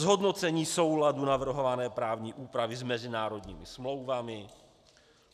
Zhodnocení souladu navrhované právní úpravy s mezinárodními smlouvami.